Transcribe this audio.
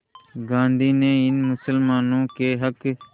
गांधी ने इन मुसलमानों के हक़